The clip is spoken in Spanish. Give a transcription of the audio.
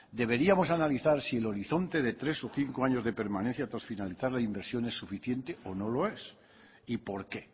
deberíamos analizar si el horizonte de tres o cinco años de permanencia tras finalidad la inversión se suficiente o no lo es y por qué